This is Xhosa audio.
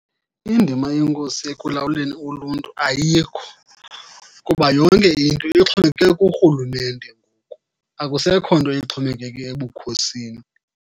Indima yenkosi ekulawuleni uluntu ayikho kuba yonke into ixhomekeke kurhulumente ngoku, akusekho nto ixhomekeke ebukhosini.